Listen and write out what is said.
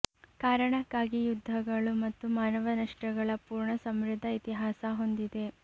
ಕಾರಣಕ್ಕಾಗಿ ಯುದ್ಧಗಳು ಮತ್ತು ಮಾನವ ನಷ್ಟಗಳ ಪೂರ್ಣ ಸಮೃದ್ಧ ಇತಿಹಾಸ ಹೊಂದಿದೆ